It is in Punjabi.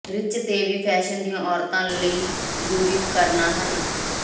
ਰਿਚ ਤੇ ਵੀ ਫੈਸ਼ਨ ਦੀਆਂ ਔਰਤਾਂ ਲਈ ਜ਼ਰੂਰੀ ਉਪਕਰਣਾਂ ਹਨ